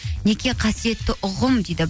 неке қасиетті ұғым дейді